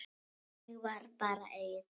Þannig var bara Egill.